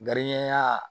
Gariyigɛ